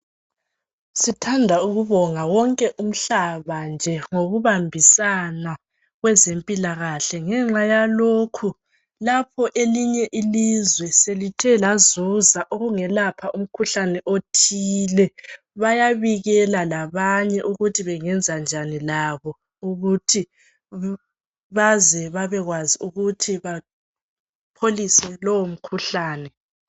Sithanda ukubonga wonke umhlaba nje ngokubambisana kwezempilakahle ngenxa yalokhu lapho elinye ilizwe selithe lazuza okungelapha umkhuhlane othile bayabikela labanye ukuthi bengenzanjani labo ukuthi babekwazi ukuthi bapholise lowu mkhuhlane.